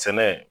Sɛnɛ